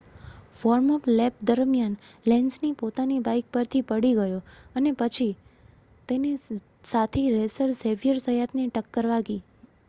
warm-up lap દરમિયાન Lenz પોતાની bike પરથી પડી ગયો અને પછી તેને સાથી રેસર ઝેવિયર ઝયાતની ટક્કર વાગી